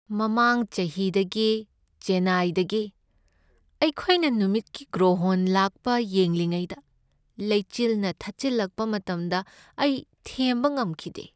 ꯃꯃꯥꯡ ꯆꯍꯤꯗ ꯆꯦꯟꯅꯥꯏꯗꯒꯤ ꯑꯩꯈꯣꯏꯅ ꯅꯨꯃꯤꯠꯀꯤ ꯒ꯭ꯔꯣꯍꯣꯟ ꯂꯥꯛꯄ ꯌꯦꯡꯂꯤꯉꯩꯗ ꯂꯩꯆꯤꯜꯅ ꯊꯠꯆꯤꯜꯂꯛꯄ ꯃꯇꯝꯗ ꯑꯩ ꯊꯦꯝꯕ ꯉꯝꯈꯤꯗꯦ꯫